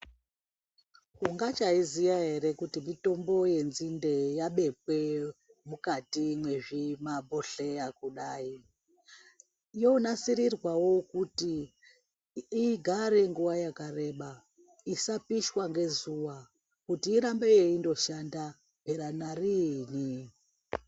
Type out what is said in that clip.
Ungachaiziya ere kuti mitombo yenzinde yabekwe mukati mwezvimabhodhleya kudai yonasirirwawo kuti igare nguwa yakareba isapishwa ngezuva kuti irambe yeingoshanda mhera nariini.